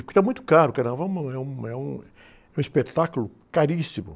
Porque está muito caro, é uma, é um, é um, é um espetáculo caríssimo.